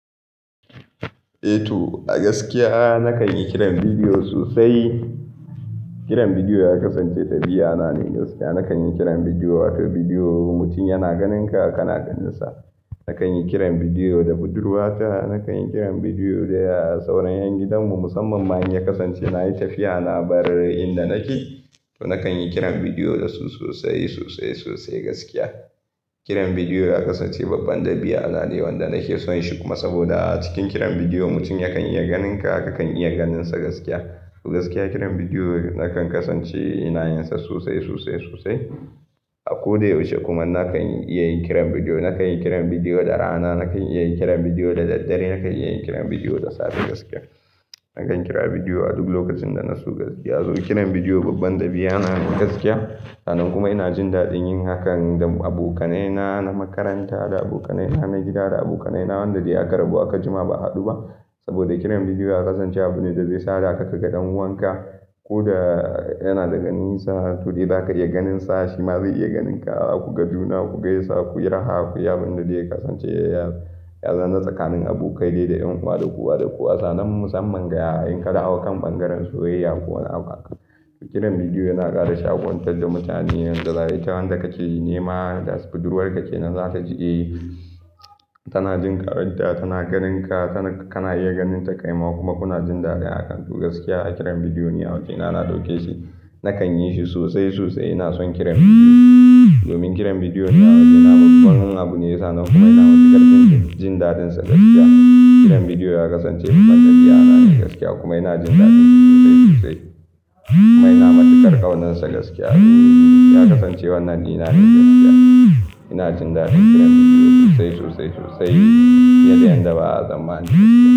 Eh to, a gaskiya nakan yi kiran bidiyo sosai. Kiran bidiyo ya kasance dabi'a na ne gaskiya. Nakan yi kiran bidiyo, wato bidiyo mutum yana ganinka ka na ganinsa. Nakan yi kiran bidiyo da budurwata, nakan yi kiran bidiyo da sauran 'yan gidanmu musamman ma in ya kasance na yi tafiya na bar inda nake. To nakan yi kiran bidiyo da su sosai, sosai, sosai gaskiya. Kiran bidiyo ya kasance babban dabi'a na ne wanda nake son shi kuma saboda cikin kiran bidiyo mutum yakan iya ganinka ka kan iya ganinsa gaskiya. To gaskiya kiran bidiyo nakan kasance ina yin sa sosai, sosai, sosai. A ko da yaushe kuma nakan iya yin kiran bidiyo. Nakan yi kiran bidiyo da rana, nakan iya yin kiran bidiyo da daddare, nakan iya yin kiran bidiyo da safe gaskiya. Nakan kira bidiyo a duk lokacin da na so gaskiya. To kiran bidiyo babban dabi'a na ne gaskiya. Sannan kuma ina jin daɗin yin hakan da abokanai na na makaranta, da abokanai na na gida, da abokanai na wanda dai aka rabu dai aka jima ba a haɗu ba. Saboda kiran bidiyo ya kasance abu ne da zai sada ka kaga ɗan uwanka ko da yana da ganisa. To dai za ka iya ganinsa shi ma zai iya ganinka, zaku ga juna ku gaisa ku yi raha ku yi abin da zai kasance ya zama tsakanin abokai dai da ƴan uwa da kowa da kowa sannan musamman ga yayin ka dawo kan ɓangaren soyayya ko wani abu haka. Kiran bidiyo yana ƙara shaƙunta da mutane, yanda ita wanda ka ce nema da budurwar ka ce na za ta jiɗe. Tana jin karnauta tana ganinka tana-- kana iya ganin ta kai ma kuma kuna jin daɗi a kantu. Gaskiya kiran bidiyo ni awaje na, na ɗauke shi. Nakan yi shi sosai, sosai ina son kiran bidiyo. Domin kiran bidiyo niyyar waje na babban abu ne ya sa nan kuma ina matsikar kin jin daɗin sa gaskiya. Kiran bidiyo ya kasance babban dabi'a na ne gaskiya kuma ina jin daɗin shi sosai, sosai. Kuma ina matukar ƙaunar sa gaskiya. Kiran bidiyo ya kasance wannan ni na ne gaskiya. Ina jin daɗin kiran bidiyo sosai, sosai, sosai. Ya dai yadda ba zan ma ni gaskiya.